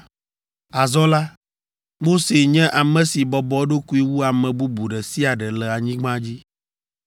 (Azɔ la, Mose nye ame si bɔbɔ eɖokui wu ame bubu ɖe sia ɖe le anyigba dzi.)